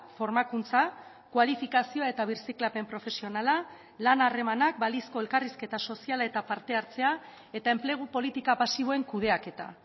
formakuntza kualifikazioa eta birziklapen profesionala lan harremanak balizko elkarrizketa soziala eta parte hartzea eta enplegu politika pasiboen kudeaketa